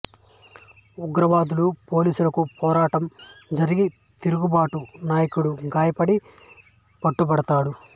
ఉగ్రవాదులు పోలీసులకు పోరాటం జరిగి తిరుగుబాటు నాయకుడు గాయపడి పట్టుబడతాడు